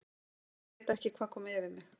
ÉG VEIT ekki hvað kom yfir mig.